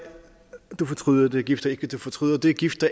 og du fortryder det gift dig ikke og du fortryder det gift